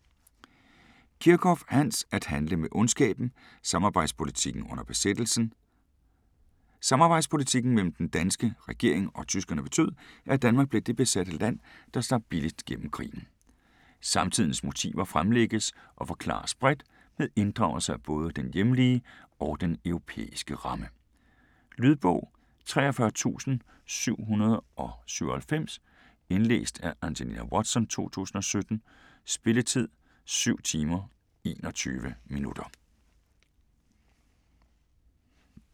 Kirchhoff, Hans: At handle med ondskaben: samarbejdspolitikken under besættelsen Samarbejdspolitikken mellem den danske regering og tyskerne betød, at Danmark blev det besatte land, der slap billigst gennem krigen. Samtidens motiver fremlægges og forklares bredt, med inddragelse af både den hjemlige og den europæiske ramme. Lydbog 43797 Indlæst af Angelina Watson, 2017. Spilletid: 7 timer, 21 minutter.